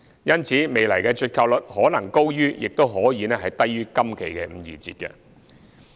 因此，未來的折扣率可能高於或低於今期的五二折。